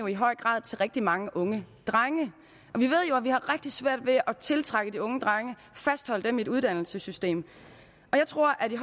i høj grad til rigtig mange unge drenge og vi har rigtig svært ved at tiltrække de unge drenge fastholde dem i et uddannelsessystem jeg tror at den